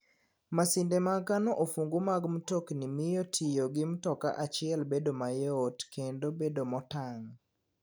Masinde mag kano ofungu mag mtokni miyo tiyo gi mtoka achiel bedo mayot kendo bedo motang '.